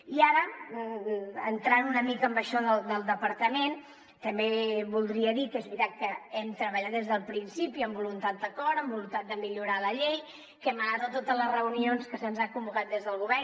i ara entrant una mica en això del departament també voldria dir que és veritat que hem treballat des del principi amb voluntat d’acord amb voluntat de millorar la llei que hem anat a totes les reunions a les que se’ns ha convocat des del govern